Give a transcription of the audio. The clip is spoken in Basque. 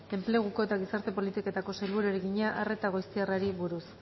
enpleguko eta gizarte politiketako sailburuari egina arreta goiztiarrari buruz